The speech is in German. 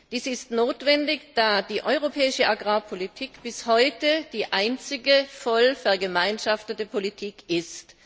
Diese ist notwendig, da die europäische Agrarpolitik bis heute der einzige voll vergemeinschaftete Politikbereich ist.